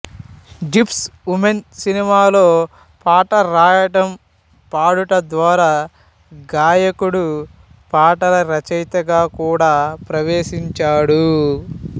gypsy women సినిమాలో పాట రాయడం పాడట ద్వారా గాయకుడుపాటల రచయితగా కూడా ప్రవేశించాడు